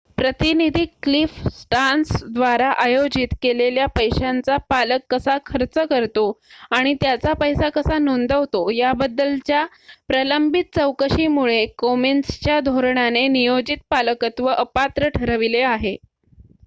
प्रतिनिधी Cliff Stearns द्वारा आयोजित केलेल्या पैशांचा पालक कसा खर्च करतो आणि त्याचा पैसा कसा नोंदवतो याबद्दलच्या प्रलंबित चौकशीमुळे कोमेन्सच्या धोरणाने नियोजित पालकत्व अपात्र ठरविले आहे